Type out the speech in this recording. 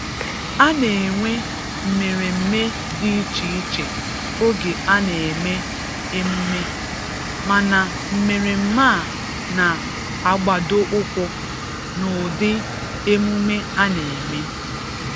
A na-enwe mmeremme dị iche iche oge a na-eme emume, mana mmeremme a na-agbado ụkwụ n’ụdị emume a na-eme.